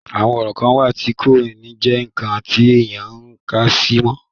àwọn orò kan wà tí kò ní jẹ́ ǹkan tí èèyàn ń kàsí mọ́